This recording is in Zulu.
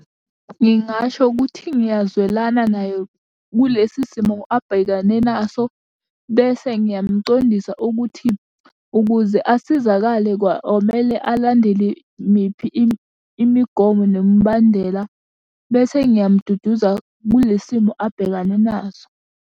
Ngingasho ukuthi ngiyazwelana naye kulesi simo abhekane naso, bese ngiyamcondisa ukuthi, ukuze asizakale kwa-omele alandele miphi imigomo nemibandela. Bese ngiyamududuza kule simo abhekane naso.